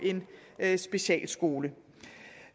en specialskole